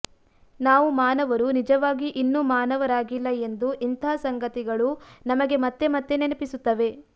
ನಾವು ಮಾನವರು ನಿಜವಾಗಿ ಇನ್ನೂ ಮಾನವರಾಗಿಲ್ಲ ಎಂದು ಇಂಥ ಸಂಗತಿಗಳು ನಮಗೆ ಮತ್ತೆ ಮತ್ತೆ ನೆನಪಿಸುತ್ತವೆ